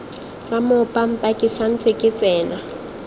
ramoopampa ke santse ke tsena